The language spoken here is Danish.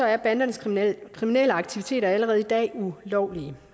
er bandernes kriminelle aktiviteter allerede i dag ulovlige